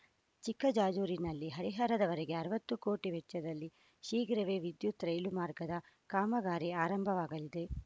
ಚಿಕ್ಕ ಜಾಜೂರಿನಲ್ಲಿ ಹರಿಹರವರೆಗೆ ಅರವತ್ತು ಕೋಟಿ ವೆಚ್ಚದಲ್ಲಿ ಶೀಘ್ರವೇ ವಿದ್ಯುತ್‌ ರೈಲು ಮಾರ್ಗದ ಕಾಮಗಾರಿ ಆರಂಭವಾಗಲಿದೆ